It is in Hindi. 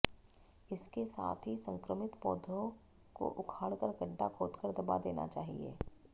इसके साथ ही संक्रमित पौधो को उखाड़कर गड्डा खोदकर दबा देना चाहिए